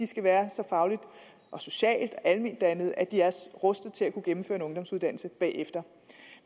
skal være så fagligt og socialt alment dannede at de er rustede til at kunne gennemføre en ungdomsuddannelse bagefter